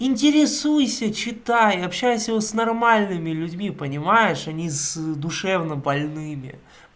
интересуйся читай общайся с нормальными людьми понимаешь а не с душевнобольными